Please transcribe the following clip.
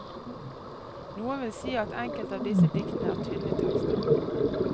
Noen vil si at enkelte av disse diktene er tynne tekster.